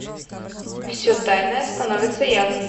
все тайное становится явным